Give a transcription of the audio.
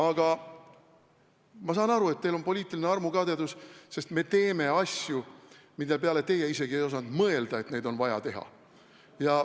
Aga ma saan aru, et teil on poliitiline armukadedus, sest me teeme asju, mille puhul teie isegi ei osanud mõelda, et neid on vaja teha.